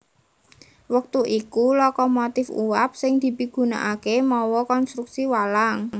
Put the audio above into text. Wektu iku lokomotif uap sing dipigunakaké mawa konstruksi walang